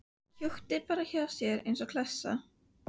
Húkti bara hjá mér eins og klessa.